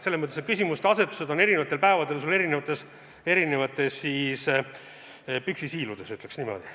Selles mõttes on sul küsimuste asetused eri päevadel eri püksisäärtes, ütleks niimoodi.